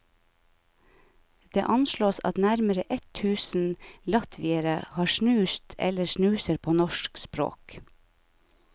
Det anslås at nærmere ett tusen latviere har snust eller snuser på norsk språk.